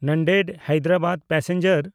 Nanded-Hyderabad passenger